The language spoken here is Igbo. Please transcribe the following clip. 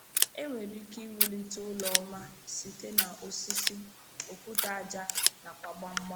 E nwere ike iwulite ụlọ ọma site na osisi, okwute aja, nakwa gbamgbam.